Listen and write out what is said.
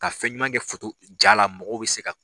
Ka fɛn ɲuman kɛ foto, ja la mɔgɔw bɛ se ka.